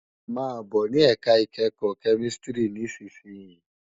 Má bò ni èká ikèékò kèmìsítìrí nìsísìyín